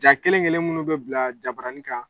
Jaa kelen kelen minnu bɛ bila jabaranin kan